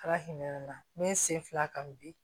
Ala hinɛ n'i sen fila kan bi